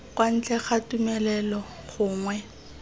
kwa ntle ga tumelelo gongwe